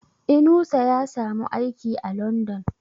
Inusa ya samu aiki a London